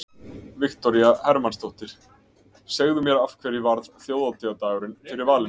Viktoría Hermannsdóttir: Segðu mér af hverju varð þjóðhátíðardagurinn fyrir valinu?